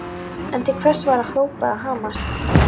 En til hvers var að hrópa eða hamast?